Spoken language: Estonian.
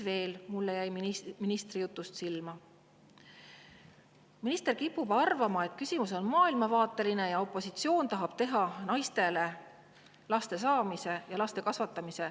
Veel jäi mulle ministri jutust silma, et minister kipub arvama, et küsimus on maailmavaateline ja opositsioon tahab teha naistele laste saamise ja laste kasvatamise …